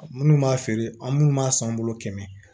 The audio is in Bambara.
Minnu b'a feere an minnu b'a san bolo kɛmɛ